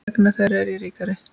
Vegna þeirra er ég ríkari.